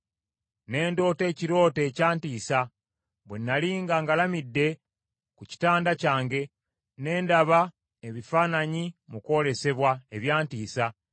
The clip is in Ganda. Ne ndoota ekirooto ekyantiisa; bwe nnali nga ngalamidde ku kitanda kyange, ne ndaba ebifaananyi mu kwolesebwa, ebyantiisa.